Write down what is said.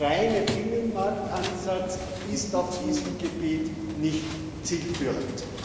Der reine Binnenmarktansatz ist auf diesem Gebiet nicht zielführend.